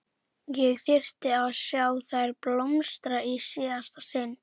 Ég þyrfti að sjá þær blómstra í síðasta sinn.